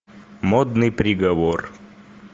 модный приговор